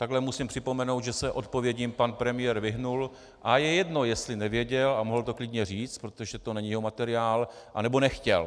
Takhle musím připomenout, že se odpovědím pan premiér vyhnul, a je jedno, jestli nevěděl, a mohl to klidně říct, protože to není jeho materiál, anebo nechtěl.